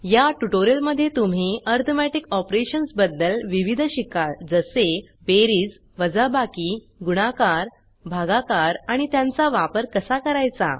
या ट्यूटोरियल मध्ये तुम्ही अरिथमेटिक ऑपरेशन्स बदद्ल विविध शिकाल जसे बेरीज वाजबाकी गुणाकार भागाकार आणि त्यांचा वापर कसा करायचा